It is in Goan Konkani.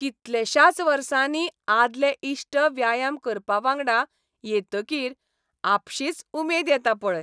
कितलेशाच वर्सांनी आदले इश्ट व्यायाम करपाक वांगडा येतकीर आपशीच उमेद येता पळय.